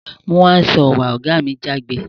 Mú hand saw wá! ògá mi jágbe